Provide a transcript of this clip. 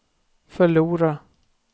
förlora